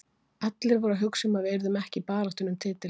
Allir voru að hugsa um að við yrðum ekki í baráttunni um titilinn.